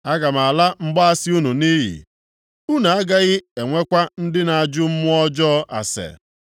Aga m ala mgbaasị unu nʼiyi, unu agaghị enwekwa ndị na-ajụ mmụọ ọjọọ ase.